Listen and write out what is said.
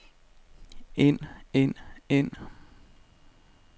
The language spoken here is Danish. ind ind ind